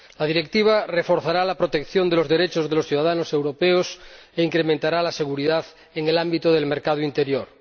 La Directiva reforzará la protección de los derechos de los ciudadanos europeos e incrementará la seguridad en el ámbito del mercado interior.